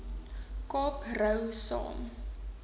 kaap rou saam